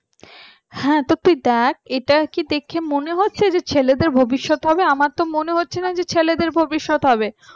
হ্যাঁ তো তুই দেখ এটা কি দেখে মনে হচ্ছে যে ছেলেদের ভবিষ্যৎ হবে, আমার তো মনে হচ্ছে না যে ছেলেদের ভবিষ্যৎ হবে